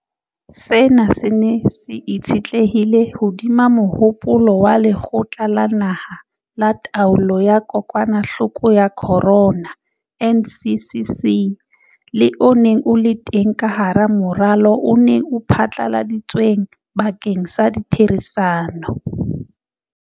Sena se ne se itshetlehile hodima mohopolo wa Lekgotla la Naha la Taolo ya Kokwanahloko ya Corona, NCCC, le o neng o le teng ka hara moralo o neng o phatlaladitsweng bakeng sa ditherisano.